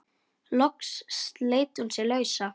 Loks sleit hún sig lausa.